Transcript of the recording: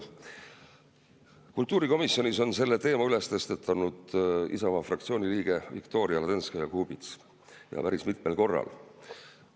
Kultuurikomisjonis on selle teema tõstatanud Isamaa fraktsiooni liige Viktoria Ladõnskaja-Kubits, ja päris mitmel korral.